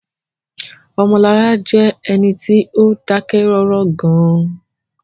Omolara jẹ́ ẹni tí ó dákẹ́ rọ́rọ́ gan-an